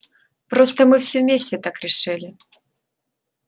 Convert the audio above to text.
просто мы все вместе так решили